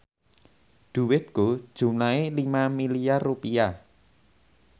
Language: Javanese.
dhuwitku jumlahe 5 miliar rupiah